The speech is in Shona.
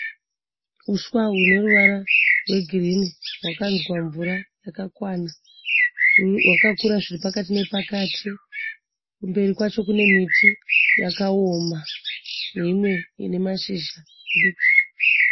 Huswa hune ruvara rwegirinhi hwakanzwa mvura yakakwana. Hwakakura zviri pakati nepakati. Kumberi kwacho kune miti yakaoma neimwe ine mashizha madiki.